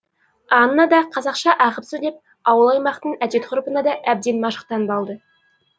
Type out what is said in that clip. анна да қазақша ағып сөйлеп ауыл аймақтың әдет ғұрпына да әбден машықтанып алды